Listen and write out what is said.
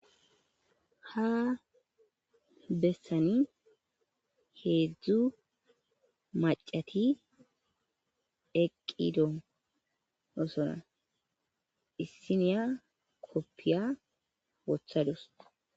Ha bessani heedzdzu macati eqqido osona issiniya koppiya wothadus.